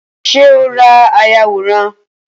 Ṣé o ra ayàwòrán?